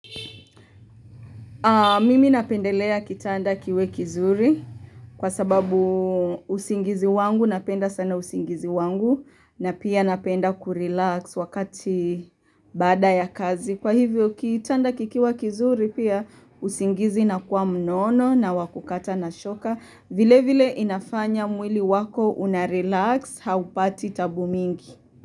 Mimi napendelea kitanda kiwe kizuri kwa sababu usingizi wangu napenda sana usingizi wangu na pia napenda kurelax wakati baada ya kazi. Kwa hivyo kitanda kikiwa kizuri pia usingizi inakuwa mnono na wakukata na shoka. Vile vile inafanya mwili wako unarelax haupati tabu mingi.